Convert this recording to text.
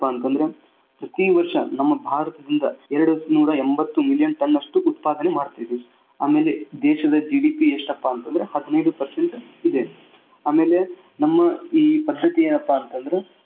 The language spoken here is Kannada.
ಅಂತಂದ್ರ ಪ್ರತಿವರ್ಷ ನಮ್ಮ ಭಾರತದಿಂದ ಎರಡ್ನೂರ ಎಂಬತ್ತು million ton ಷ್ಟು ಉತ್ಪಾದನೆ ಮಾಡ್ತಿವಿ. ಆಮೇಲೆ ದೇಶದ GDP ಎಷ್ಟಪಾ ಅಂತಂದ್ರ ಹದಿನೈದು percent ಇದೆ ಆಮೇಲೆ ನಮ್ಮ ಇಲ್ಲಿನ ಪರಿಸ್ಥಿತಿ ಏನಪ್ಪಾ ಅಂತಂದ್ರೆ.